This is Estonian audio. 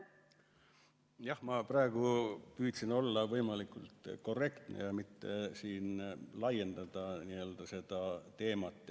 Jah, ma praegu püüdsin olla võimalikult korrektne ja mitte laiendada seda teemat.